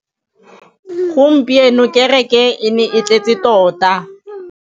Gompieno kêrêkê e ne e tletse tota.